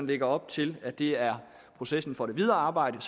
lægger op til at det er processen for det videre arbejde